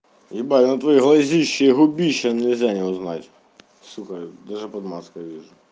ебать но твои глазища и губища нельзя не узнать сука даже под маской вижу